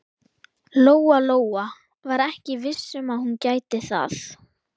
Lóa-Lóa var ekki viss um að hún gæti það.